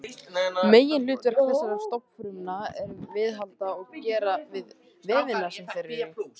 Meginhlutverk þessara stofnfrumna er að viðhalda og gera við vefina sem þær eru í.